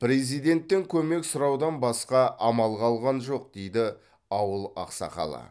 президенттен көмек сұраудан басқа амал қалған жоқ дейді ауыл ақсақалы